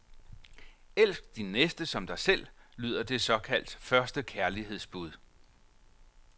Elsk din næste som dig selv, lyder det såkaldte første kærlighedsbud.